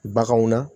Baganw na